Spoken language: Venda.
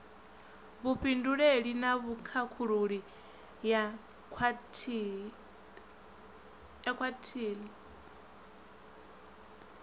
vhufhinduleli na vhukhakhululi ya khwalithi